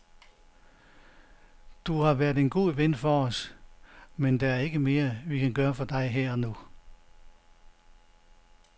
Du har været en god ven for os, men der er ikke mere, vi kan gøre for dig her og nu.